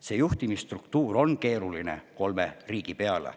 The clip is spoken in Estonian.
See juhtimisstruktuur kolme riigi peale on keeruline.